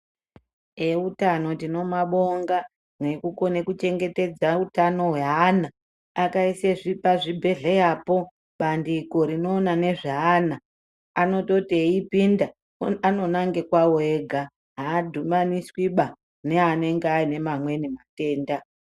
Eutano tinomabonga ngekukona kuchengetedza utano hweana. Akaisa pazvibhendleya po bandiko rinoona nezveana. Anototi eipinda anonanga kwawo ega, aadhumaniswi neamweni anenge ane amweni matenda.